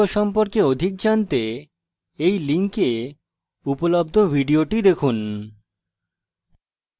এই লিঙ্কে উপলব্ধ video দেখুন spokentutorial org/what is a spokentutorial